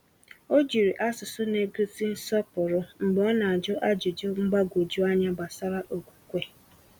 O jiri asụsụ n'egosi nsọpụrụ mgbe ọ na-ajụ ajụjụ mgbagwoju anya gbasara okwukwe.